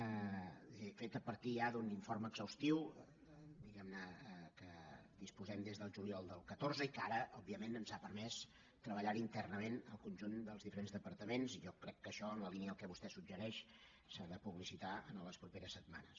és a dir fet a partir ja d’un informe exhaustiu diguem ne del qual disposem des del juliol del catorze i que ara òbviament ens ha permès treballar hi internament el conjunt dels diferents departaments i jo crec que això en la línia del que vostè suggereix s’ha de publicitar les properes setmanes